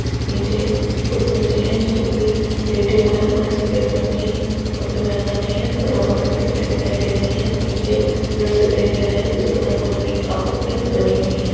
नीचे कुछ बच्चे हैं जो की लेटे हुए हैं उन्होंने सफेद रंग की कपड़े पहन रखे हैं बराबर में खिड़कियां दिखाई दे रही हैं पीछे पिल्लर्स दिखाई दे रहा हैं जिसपर रंग बिरंगी आकृतियां बनी हुई हैं।